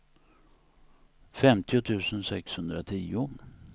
femtio tusen sexhundratio